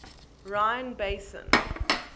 rhine basin